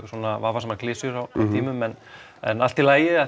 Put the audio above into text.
vafasamar klisjur á tímum en en allt í lagi